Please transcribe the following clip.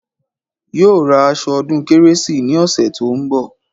Yóò ra aṣọ ọdún kérésì ní ọ̀sẹ̀ tó ń bọ̀